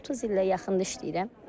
30 ilə yaxındır işləyirəm.